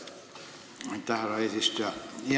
Aitäh, härra eesistuja!